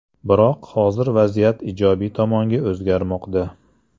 Biroq hozir vaziyat ijobiy tomonga o‘zgarmoqda.